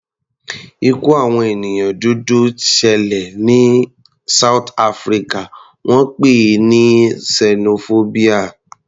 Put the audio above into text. Ikú àwọn ènìyàn dúdú t ṣẹlẹ̀ rí ní south Africa, wọ́n pè é ní sẹnofóbíà.